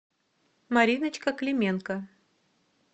мариночка клименко